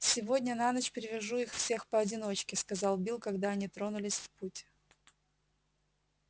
сегодня на ночь привяжу их всех поодиночке сказал билл когда они тронулись в путь